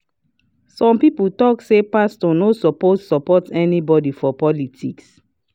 some people talk say pastor no suppose support anybody for politics.